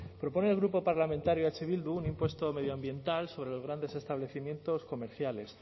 propone el grupo parlamentario eh bildu un impuesto medioambiental sobre los grandes establecimientos comerciales